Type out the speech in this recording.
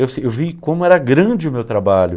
Eu se eu vi como era grande o meu trabalho.